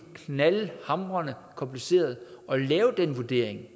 knaldhamrende kompliceret at lave den vurdering